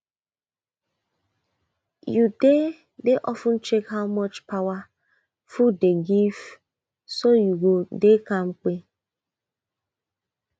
you dey dey of ten check how much power food dey give so you go dey kampe